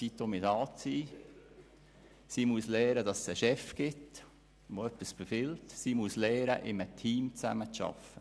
Weiter musste sie damit umzugehen lernen, dass es einen Chef gibt, der etwas befiehlt, und mit einem Team zusammenzuarbeiten.